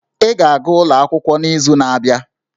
Ị ga-aga akwụkwọ n'izu na-abịa!